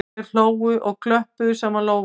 Þau hlógu og klöppuðu saman lófunum